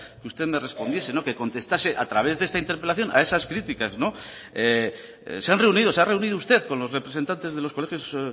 que usted me respondiese que contestase a través de esta interpelación a esas críticas se han reunido se ha reunido usted con los representantes de los colegios